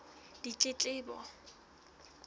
ditletlebo